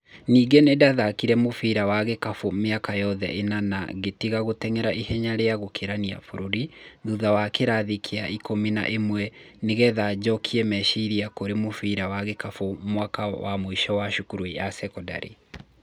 Ningĩ nĩndathakire mũbira wa gĩkabũ mĩaka yothe ĩna na ngĩtiga gũteng'era ihenya rĩa gũkĩrania bũrũri thutha wa kĩrathi kĩa ikũmi na ĩmwe nĩgetha njokie meciria kũri mũbira wa gĩkabũ mwaka wa mũico wa cukuru ya sekondari